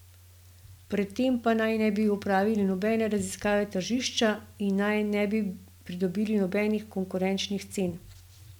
Pred tem pa naj ne bi opravili nobene raziskave tržišča in naj ne bi pridobili nobenih konkurenčnih cen.